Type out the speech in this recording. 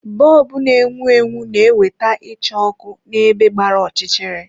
Bọlbụ na-enwu enwu na ewete icha òkù na-ebe gbara ọchịchịrị.